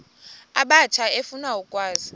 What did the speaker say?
abatsha efuna ukwazi